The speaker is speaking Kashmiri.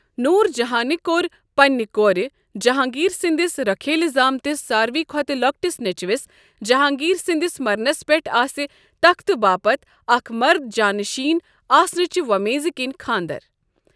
نوُر جہانہِ كور پننہِ كورِ جہانگیر سٕندِس ركھیلہِ زامتِس سارِوٕے کھوتہٕ تہ لوكٹِس نیچوِس ،جہانگیر سندِس مرنس پیٹھ آسہِ تختہٕ باپت اكھ مرد جاں نشین آسنٕچہِ وومیز كِنۍ خاندر ۔